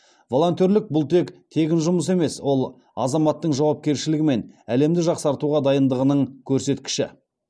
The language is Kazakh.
волонтерлік бұл тек тегін жұмыс емес ол азаматтың жауапкершілігі мен әлемді жақсартуға дайындығының көрсеткіші